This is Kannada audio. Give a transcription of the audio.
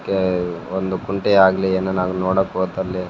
ಕೇ ಒಂದು ಕುಂಟೆಯಾಗ್ಲಿ ಅನ್ ನಾನ್ ನೋಡಕ್ ಹೋತರ್ಲೆ --